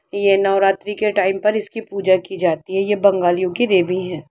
ये नवरात्रि के टाइम पर इसकी पूजा की जाती हैये बंगालियों की देवी है।